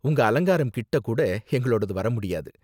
உங்க அலங்காரம் கிட்ட கூட எங்களோடது வர முடியாது.